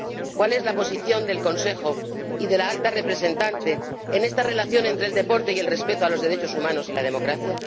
¿Cuál es la posición del Consejo y de la Alta Representante en esta relación entre el deporte y el respeto a los derechos humanos y la democracia?